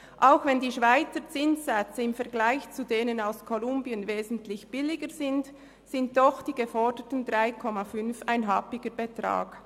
Auch wenn die Schweizer Zinssätze im Vergleich zu denen in Kolumbien wesentlich billiger sind, sind doch die geforderten 3,5 Prozent ein happiger Betrag.